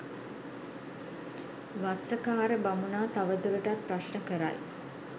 වස්සකාර බමුණා තවදුරටත් ප්‍රශ්න කරයි.